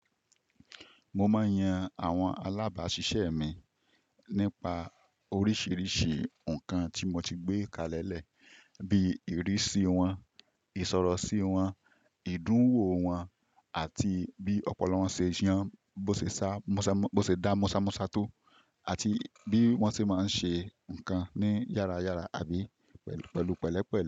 Mo máa ń yan àwọn alábàáṣiṣẹ́ mi nípa oríṣìíríṣìí ǹkan tí mo ti gbé kalẹ̀ lẹ̀, bí i ìrísí wọn, ìsọ̀rọ̀ sí wọn, ìdúǹwò wọn àti bí ọ̀pọ̀lowon ṣe yàn, bo se sa bó ṣe dá mọ́sámọ́sá tó àti bí wọ́n ti máa ń ṣe ǹkan ní yára yára àbí pẹ̀lú pẹ̀lú pẹ̀lẹ́pẹ̀lẹ́.